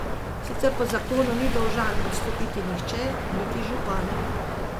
Sicer po zakonu ni dolžan odstopiti nihče, niti župan.